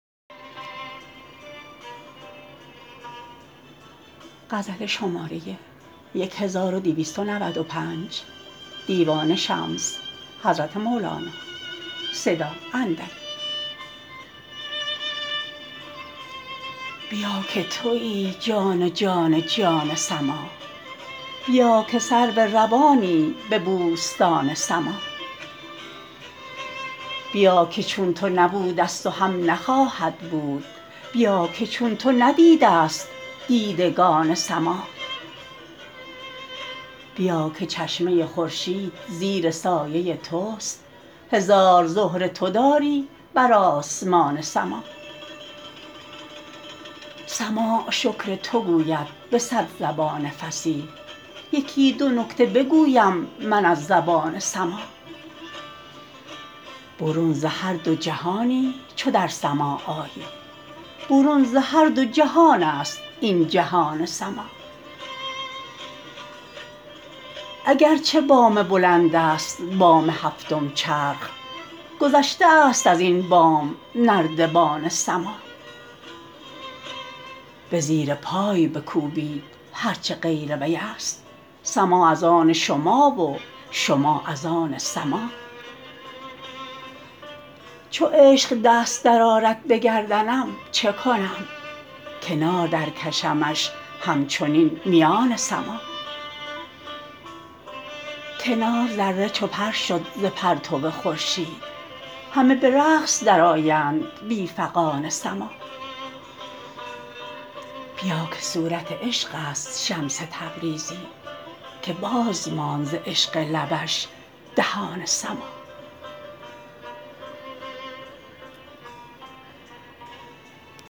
بیا بیا که توی جان جان جان سماع بیا که سرو روانی به بوستان سماع بیا که چون تو نبودست و هم نخواهد بود بیا که چون تو ندیدست دیدگان سماع بیا که چشمه خورشید زیر سایه تست هزار زهره تو داری بر آسمان سماع سماع شکر تو گوید به صد زبان فصیح یکی دو نکته بگویم من از زبان سماع برون ز هر دو جهانی چو در سماع آیی برون ز هر دو جهانست این جهان سماع اگر چه بام بلندست بام هفتم چرخ گذشته است از این بام نردبان سماع به زیر پای بکوبید هر چه غیر ویست سماع از آن شما و شما از آن سماع چو عشق دست درآرد به گردنم چه کنم کنار درکشمش همچنین میان سماع کنار ذره چو پر شد ز پرتو خورشید همه به رقص درآیند بی فغان سماع بیا که صورت عشقست شمس تبریزی که باز ماند ز عشق لبش دهان سماع